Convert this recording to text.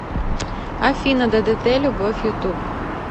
афина ддт любовь ютуб